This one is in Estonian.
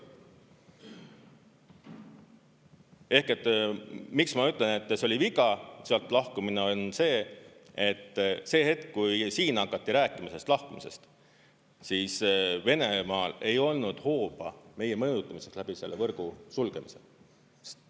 Ehk miks ma ütlen, et see oli viga, sealt lahkumine, on see, et see hetk, kui siin hakati rääkima sellest lahkumisest, siis Venemaal ei olnud hooba meie mõjutamiseks läbi selle võrgu sulgemise.